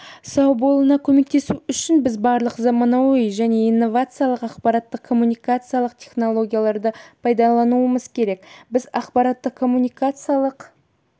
сау болуына көмектесу үшін біз барлық заманауи және инновациялық ақпараттық-коммуникациялық технологияларды пайдалануымыз керек біз ақпараттық-коммуникациялық